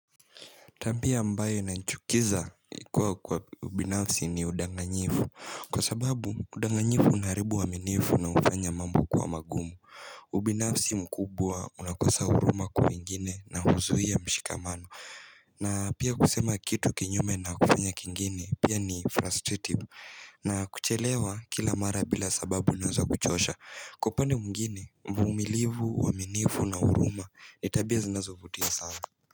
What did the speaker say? Tabia ambayo inachukiza ikua kwa ubinafsi ni udanganyifu Kwa sababu udanganyifu unaharibu uaminifu na ufanya mambo kuwa magumu ubinafsi mkubwa unakosa huruma kuingine na huzuia mshikamano na pia kusema kitu kinyume na kufanya kingine pia ni frustrating na kuchelewa kila mara bila sababu nazwa kuchosha Kwa upande mwingine umilivu uaminifu na huruma ni tabia zinazovutia sana.